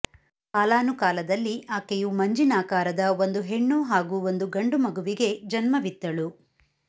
ಕಾಲಾನುಕಾಲದಲ್ಲಿ ಆಕೆಯು ಮಂಜಿನಾಕಾರದ ಒಂದು ಹೆಣ್ಣು ಹಾಗೂ ಒಂದು ಗಂಡು ಮಗುವಿಗೆ ಜನ್ಮವಿತ್ತಳು